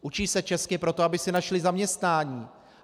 Učí se česky proto, aby si našli zaměstnání.